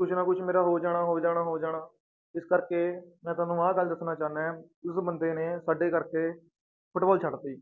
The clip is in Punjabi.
ਕੁਛ ਨਾ ਕੁਛ ਮੇਰਾ ਹੋ ਜਾਣਾ, ਹੋ ਜਾਣਾ, ਹੋ ਜਾਣਾ ਇਸ ਕਰਕੇ ਮੈਂ ਤੁਹਾਨੂੰ ਆਹ ਗੱਲ ਦੱਸਣਾ ਚਾਹੁੰਨਾ ਹੈ ਉਸ ਬੰਦੇ ਨੇ ਸਾਡੇ ਕਰਕੇ ਫੁਟਬਾਲ ਛੱਡ ਦਿੱਤੀ,